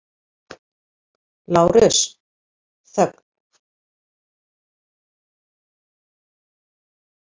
LÁRUS: Þögn!